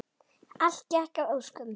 Allt gekk að óskum.